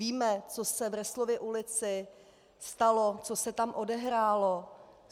Víme, co se v Resslově ulici stalo, co se tam odehrálo.